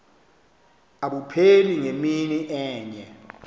abupheli ngemini enye